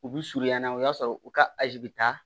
U bi surunya n'a ye o y'a sɔrɔ u ka azi bi taa